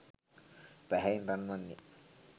පැහැයෙන් රන්වන් ය.